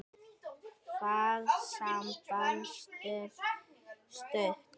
Það samband stóð stutt.